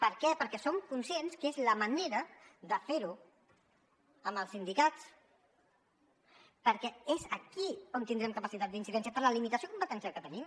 per què perquè som conscients que és la manera de fer ho amb els sindicats perquè és aquí on tindrem capacitat d’incidència per la limitació competencial que tenim